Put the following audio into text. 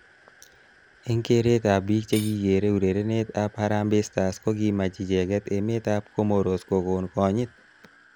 Eng keret ab bik chekikerei urerenet ab Harambe stars kokimach icheket emet ab Comoros kokon konyit.